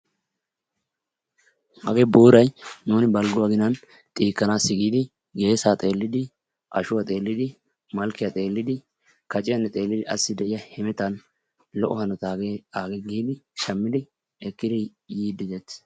Hagee boorayi nuuni balgguwa aginan xiikkanaassi giidi geesaa xeellidi, ashuwa xeellidi, malkkiya xeellidi kaciyanne xeellidi asi de"iya hemetan lo"o hanota hagee aagee giidi shammidi ekkidi yiiddi de"eettes.